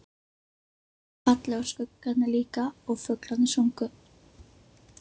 Birtan var falleg og skuggarnir líka og fuglarnir sungu.